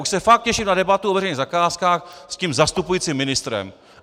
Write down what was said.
Už se fakt těším na debatu o veřejných zakázkách s tím zastupujícím ministrem.